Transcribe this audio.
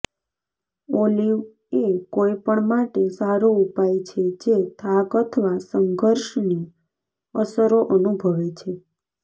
olive એ કોઈપણ માટે સારો ઉપાય છે જે થાક અથવા સંઘર્ષની અસરો અનુભવે છે